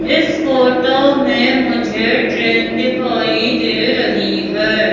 इस फोटो मे मुझे ट्रेन दिखाई दे रही है।